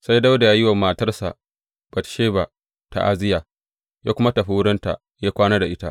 Sai Dawuda ya yi wa matarsa Batsheba ta’aziyya, ya kuma tafi wurinta ya kwana da ita.